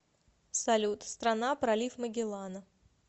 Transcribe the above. салют страна пролив магеллана